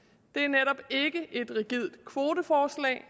er netop ikke et rigidt kvoteforslag